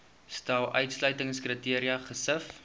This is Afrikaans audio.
stel uitsluitingskriteria gesif